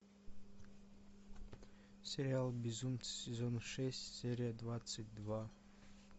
сериал безумцы сезон шесть серия двадцать два